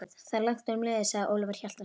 Það er langt um liðið, sagði Ólafur Hjaltason.